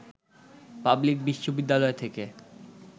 public বিশ্ববিদ্যালয় থেকে